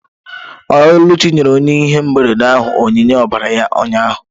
Oluchi nyere onye ihe mberede ahụ onyinye ọbara ya ụnyahụ